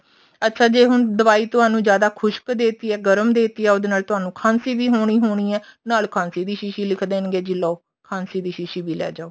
ਅੱਛਾ ਜੇ ਹੁਣ ਦਵਾਈ ਤੁਹਾਨੂੰ ਜਿਆਦਾ ਖੁਸ਼ਕ ਦੇਤੀ ਜਾ ਗਰਮ ਦੇਤੀ ਆ ਉਹਦੇ ਨਾਲ ਤੁਹਾਨੂੰ ਖਾਂਸੀ ਵੀ ਹੋਣੀ ਹੋਣੀ ਹੈ ਨਾਲ ਖਾਂਸੀ ਦੀ ਸ਼ੀਸ਼ੀ ਲਿਖ ਦੇਣਗੇ ਵੀ ਲਓ ਖਾਂਸੀ ਦੀ ਸ਼ੀਸ਼ੀ ਲੈ ਜਾਓ